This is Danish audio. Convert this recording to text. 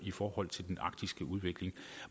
i forhold til den arktiske udvikling